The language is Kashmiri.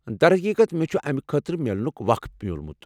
در حقیقت، مےٚ چھُ امہِ خٲطرٕ میلنُك وخ میوٗلمُت ۔